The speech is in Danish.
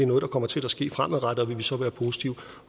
noget der kommer til at ske fremadrettet og vil vi så være positive